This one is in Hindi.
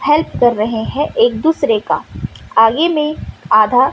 हेल्प कर रहे है एक दूसरे का आगे में आधा--